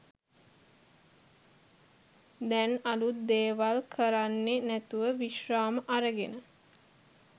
දැන් අලුත් දේවල් කරන්නෙ නැතුව විශ්‍රාම අරගෙන.